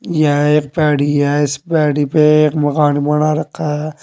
यह एक पैडी है इस पर एक मकान बना रखा है।